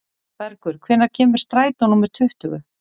Bergur, hvenær kemur strætó númer tuttugu?